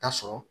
Ta sɔrɔ